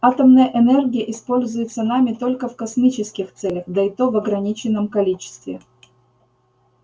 атомная энергия используется нами только в космических целях да и то в ограниченном количестве